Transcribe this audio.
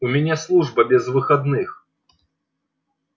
у меня служба без выходных